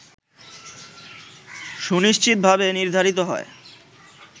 সুনিশ্চিতভাবে নির্ধারিত হয়